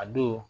A don